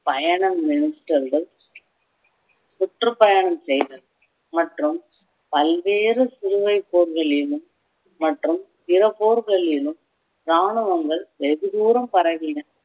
பயணம் minister கள் சுற்றுப்பயணம் செய்தல் மற்றும் பல்வேறு சிலுவைப் போர்களிலும் மற்றும் பிற போர்களிலும் ராணுவங்கள் வெகு தூரம் பரவின